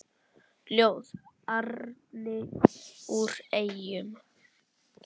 Ljóð: Árni úr Eyjum